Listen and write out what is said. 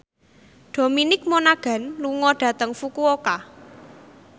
Dominic Monaghan lunga dhateng Fukuoka